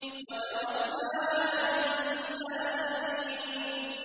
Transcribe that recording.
وَتَرَكْنَا عَلَيْهِ فِي الْآخِرِينَ